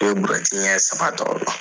I bɛ buruyɛti ɲɛ saba ta o la.